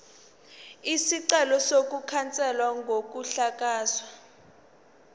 isicelo sokukhanselwa kokuhlakazwa